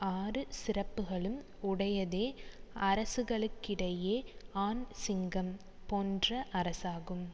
ஆறு சிறப்புகளும் உடையதே அரசுகளுக்கிடையே ஆண் சிங்கம் போன்ற அரசாகும்